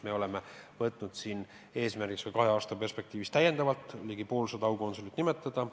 Me oleme võtnud eesmärgiks kahe aasta perspektiivis täiendavalt ligi poolsada aukonsulit ametisse nimetada.